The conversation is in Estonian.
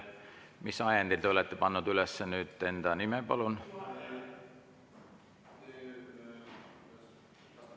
Mis ajendil te olete pannud üles enda nime, palun?